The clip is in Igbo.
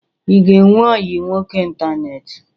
Ị ga-enwe ọyị nwoke ịntaneetị?